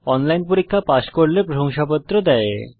online পরীক্ষা pass করলে প্রশংসাপত্র দেওয়া হয়